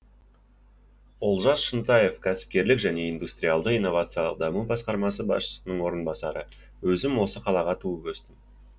олжас шынтаев кәсіпкерлік және индустриалды инновациялық даму басқармасы басшысының орынбасары өзім осы қалада туып өстім